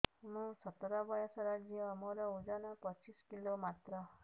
ମୁଁ ସତର ବୟସର ଝିଅ ମୋର ଓଜନ ପଚିଶି କିଲୋ ମାତ୍ର